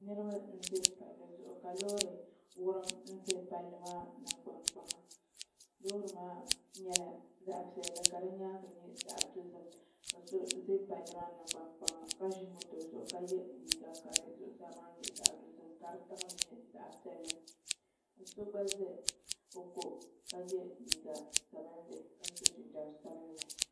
Niraba n ʒɛ palli zuɣu ka loori wurim niraba ʒɛ palli maa nangbani kpaŋa loori maa nyɛla zaɣ piɛlli ka di nyaangi nyɛ zaɣ dozim ka di ʒɛ palli maa nangbani kpaŋa ka ʒi moto zuɣu ka yɛ liiga ka di zuɣusaa maa nyɛ zaɣ dozim ka di tiŋli nyɛ zaɣ piɛlli so gba ʒɛ o ko ka yɛ liiga sabinli ka so jinjɛm sabinli